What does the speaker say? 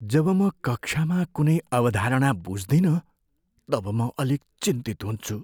जब म कक्षामा कुनै अवधारणा बुझ्दिनँ तब म अलिक चिन्तित हुन्छु।